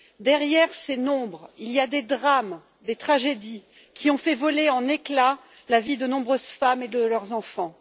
Derrière ces nombres, il y a des drames et des tragédies qui ont fait voler en éclats la vie de nombreuses femmes et de leurs enfants.